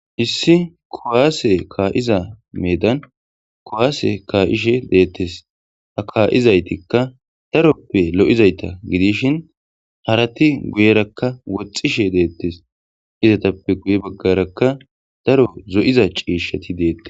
Issi kuwasse ka'iza meedan kuwasse ka'ishshe de'etees.ha ka'izaytika darope lo'izayta Gidishin Harati guyeraka woxishe de'tes izetape guye bagaraka DAro zo'iza cishati detess